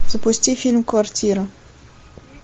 запусти фильм квартира